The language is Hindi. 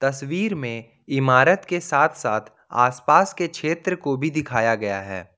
तस्वीर में इमारत के साथ साथ आस पास के क्षेत्र को भी दिखाया गया है।